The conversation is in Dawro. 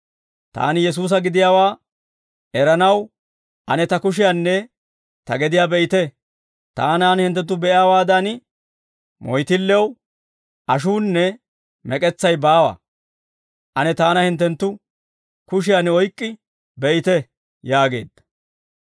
Taani Yesuusa gidiyaawaa eranaw, ane ta kushiyaanne ta gediyaa be'ite; taanan hinttenttu be'iyaawaadan, moyttillew ashuunne mek'etsay baawa. Ane taana hinttenttu kushiyaan oyk'k'i be'ite» yaageedda.